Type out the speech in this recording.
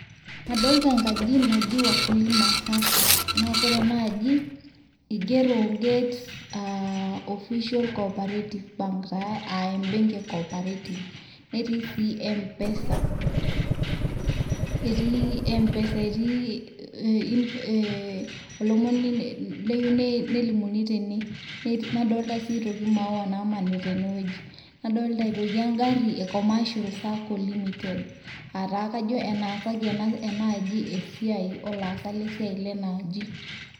kadolta enkaji naji wakulima sacco naa kore enaaji igero gate official corparative bank taa aa ebenki e cooperative netii sii mpesa, netii mpesa etii olomoni oyieu nelimuni tene, nadoolta sii aitoki imaawa naamanita ene wueji .nadoolta aitoki egari e commercial[ sacco limitedcs] aa kajo enaasaki ena sacco esiai olaasak lena aji.